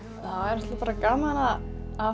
það er gaman að